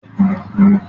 Gẹ́tò ni ó ń gbé